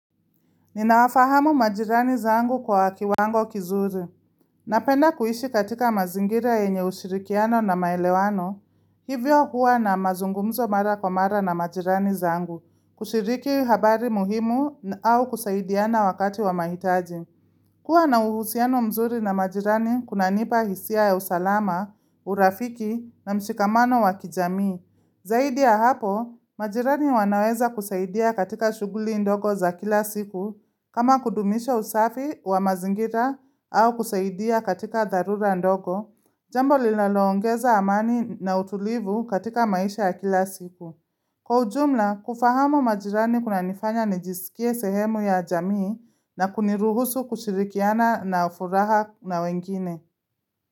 Ninawafahamu majirani zangu kwa kiwango kizuri. Napenda kuishi katika mazingira yenye ushirikiano na maelewano, hivyo huwa na mazungumzo mara kwa mara na majirani zangu, kushiriki habari muhimu au kusaidiana wakati wa mahitaji. Kuwa na uhusiano mzuri na majirani kunanipa hisia ya usalama, urafiki na mshikamano wa kijamii. Zaidi ya hapo, majirani wanaweza kusaidia katika shughuli ndogo za kila siku kama kudumisha usafi wa mazingira au kusaidia katika dharura ndogo, jambo linaloongeza amani na utulivu katika maisha ya kila siku. Kwa ujumla, kufahamu majirani kunanifanya nijisikie sehemu ya jamii na kuniruhusu kushirikiana na furaha na wengine.